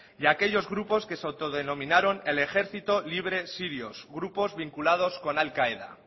y aquellos grupos que se autodenominaron el ejercito libre sirio grupos vinculados con al qaeda